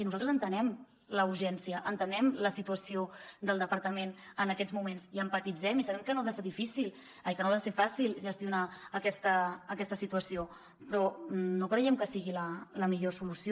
i nosaltres entenem la urgència entenem la situació del departament en aquests moments hi empatitzem i sabem que no ha de ser fàcil gestionar aquesta situació però no creiem que sigui la millor solució